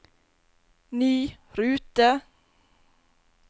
ny rute